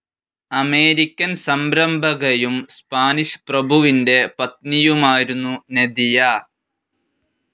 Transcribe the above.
American സംരംഭകയും Spanish പ്രഭുവിന്റെ പത്‌നിയുമായിരുന്നു നദിയ.